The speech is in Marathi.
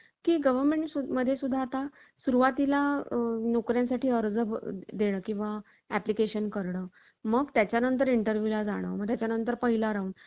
आचारशील, विचारशील, उदारशील. धर्मशील, सर्वज्ञ सुशील. धर्म निश्चयाचा महामेरू. अखंड, निर्धारी, राजयोगी. अशी ना ना परीची विशेषणे शिवाजीला रामदासांनी लावली होती.